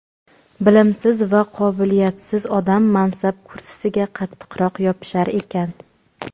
Bilimsiz va qobiliyatsiz odam mansab kursisiga qattiqroq yopishar ekan.